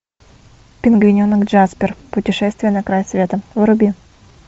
пингвиненок джаспер путешествие на край света вруби